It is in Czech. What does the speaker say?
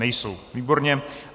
Nejsou, výborně.